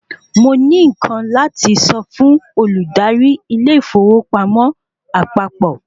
Mo ní nkán láti sọ fún olùdarí ilé ìfowópamọ́ àpapọ̀